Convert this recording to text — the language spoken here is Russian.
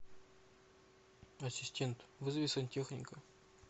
ассистент вызови сантехника